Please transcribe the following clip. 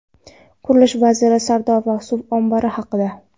Qurilish vaziri Sardoba suv ombori haqida.